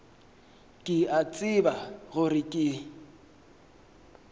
ke a tseba gore ke